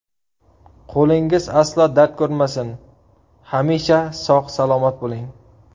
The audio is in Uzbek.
Qo‘lingiz aslo dard ko‘rmasin, hamisha sog‘-salomat bo‘ling!